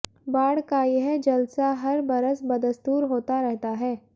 बाढ़ का यह जलसा हर बरस बदस्तूर होता रहता है